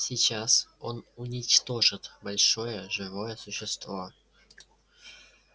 сейчас он уничтожит большое живое существо